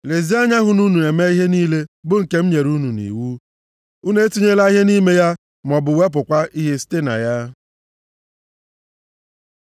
Lezienụ anya hụ na unu na-eme ihe niile bụ nke m nyere unu nʼiwu. Unu etinyela ihe nʼime ya maọbụ wepụkwa ihe site na ya.